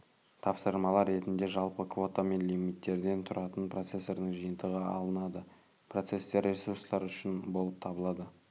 тапсырмалар ретінде жалпы квота мен лимиттерден түратын процестердің жиынтығы алынады процестер ресурстар үшін болып табылады